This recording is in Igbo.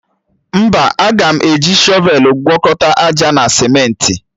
Mba, aga m eji shọvelụ gwọkọta àjà na simentị